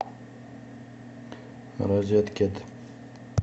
розеткед